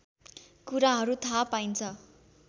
कुराहरू थाहा पाइन्छ